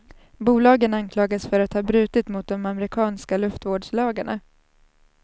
Bolagen anklagas för att ha brutit mot de amerikanska luftvårdslagarna.